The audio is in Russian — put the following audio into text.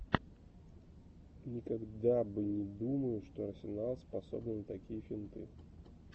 никогда бы не думаю что арсенал способны на такие финты